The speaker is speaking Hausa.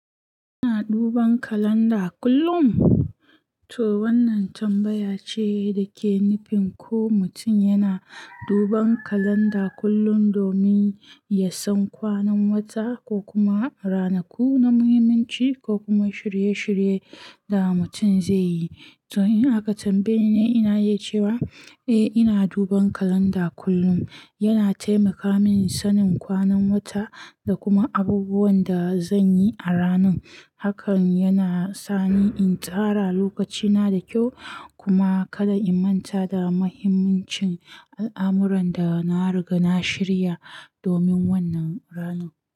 Kina duban kalanda kullum? To wannan tambaya ce da ke nufin ko mutum yana duban kalanda kullum domin ya san kwanan wata ko kuma ranaku na muhimmanci ko kuma shirye-shirye da mutum zai yi. To in aka tambaye ni, ina iya cewa eh ina duban kalanda kullum. Yana taimaka min sanin kwanan wata da kuma abubuwan da zan yi a ranun. Hakan yana sani in tsara lokacina da kyau kuma kada in manta da muhimmancin al'amuran da na riga na shirya domin wannan ranu.